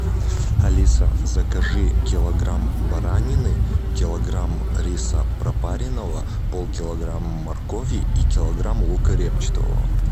алиса закажи килограмм баранины килограмм риса пропаренного полкилограмма моркови и килограмм лука репчатого